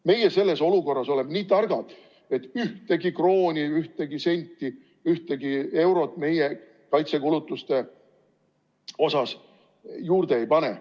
Meie oleme selles olukorras nii targad, et ühtegi krooni, ühtegi senti, ühtegi eurot kaitsekulutustele juurde ei pane.